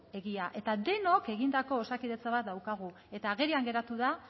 egia eta denok egindako osakidetza bat daukagu eta agerian geratu da